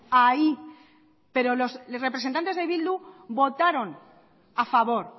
ahí pero los representantes de bildu votaron a favor